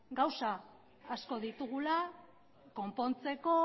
gauza asko ditugula konpontzeko